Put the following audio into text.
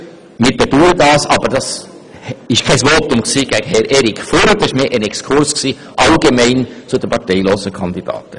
Das war jetzt kein Votum gegen Herrn Erik Furrer, sondern ein allgemeiner Exkurs zum Thema «parteilose Kandidaten».